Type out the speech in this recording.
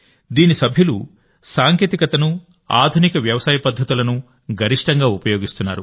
దీని సభ్యులు సాంకేతికతను ఆధునిక వ్యవసాయ పద్ధతులను గరిష్టంగా ఉపయోగిస్తున్నారు